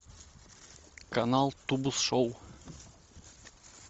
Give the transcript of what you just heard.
канал тубус шоу